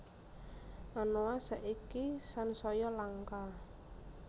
Anoa saiki sansaya langka